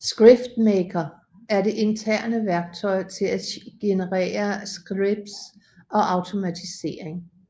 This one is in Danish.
ScriptMaker er det interne værktøj til at generere scripts og automatisering